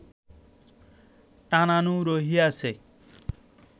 টানানো রহিয়াছে